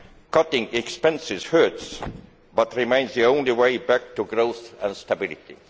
Cutting expenses hurts, but remains the only way back to growth and stability.